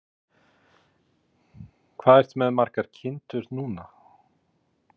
Þóra: Hvað ertu með margar kindur núna?